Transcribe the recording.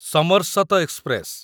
ସମର୍ଶତ express